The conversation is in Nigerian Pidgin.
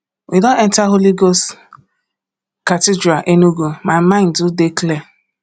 we don enta holy ghost cathedral enugu my mind do dey clear